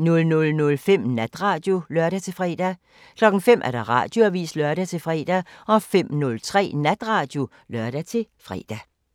00:05: Natradio (lør-fre) 05:00: Radioavisen (lør-fre) 05:03: Natradio (lør-fre)